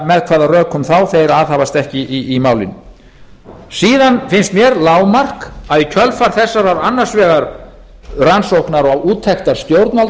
með hvaða rökum þeir aðhafast ekki í málinu síðan finnst mér lágmark að í kjölfar þessarar annars vegar rannsóknar á úttekt stjórnvalda